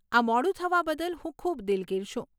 આ મોડું થવા બદલ હું ખૂબ દિલગીર છું.